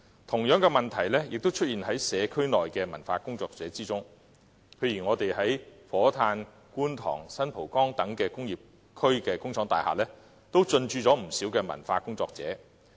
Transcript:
同樣的問題亦出現於社區的文化工作者身上，譬如在火炭、觀塘和新蒲崗等工業區的工廠大廈，都進駐不少文化工作者。